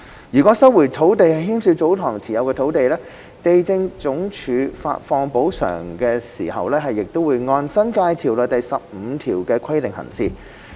如收回的土地涉及祖堂持有的土地，地政總署發放補償時亦會按《新界條例》第15條的規定行事。